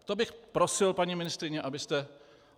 To bych prosil, paní ministryně, abyste...